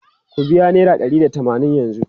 Ku biya naira ɗari da tamanin yanzu!